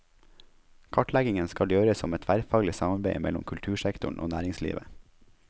Kartleggingen skal gjøres som et tverrfaglig samarbeid mellom kultursektoren og næringslivet.